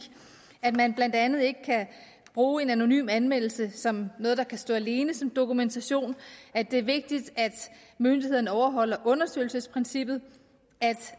at man blandt andet ikke kan bruge en anonym anmeldelse som noget der kan stå alene som dokumentation at det er vigtigt at myndighederne overholder undersøgelsesprincippet